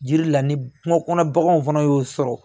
Jiri la ni kungo kɔnɔ baganw fana y'o sɔrɔ